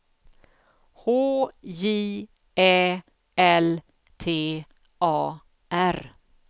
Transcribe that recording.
H J Ä L T A R